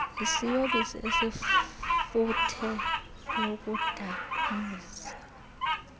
isiyobisi esinefuthe lokudakumbisa